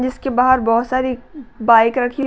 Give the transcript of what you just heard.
जिसके बाहर बोहोत सारी बाइक रखी --